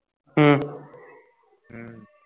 ਹਮ